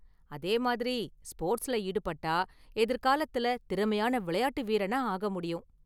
அதேமாதிரி, ஸ்போர்ட்ஸ்ல ஈடுபட்டா எதிர்காலத்துல திறமையான விளையாட்டு வீரனா ஆகமுடியும்.